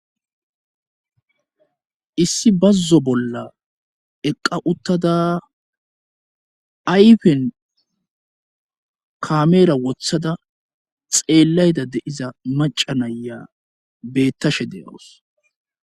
issi bazzo bolla eqqa uttada ayfen kameera wothada xeellayda de7iza maca naya beettashe de7awus